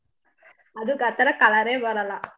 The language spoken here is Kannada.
ಅದುಕ್ ಆ ತರಾ colour ಯೇ ಬರಲ್ಲ.